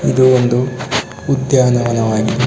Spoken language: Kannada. ಇದು ಒಂದು ಉದ್ಯಾನವಾಗಿದೆ .